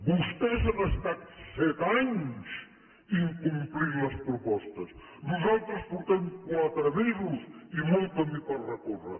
vostès han estat set anys incomplint les propostes nosaltres portem quatre mesos i molt camí per recórrer